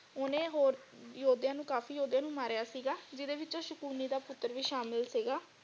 ਓਹਨੇ ਹੋਰ ਯੋਧਿਆਂ ਨੂੰ ਕਾਫ਼ੀ ਯੋਧਿਆਂ ਨੂੰ ਮਾਰਿਆ ਸੀਗਾ ਜਿਹਦੇ ਵਿਚ ਸ਼ਕੁਨੀ ਦਾ ਪੁੱਤਰ ਵੀ ਸ਼ਾਮਿਲ ਸੀਗਾ।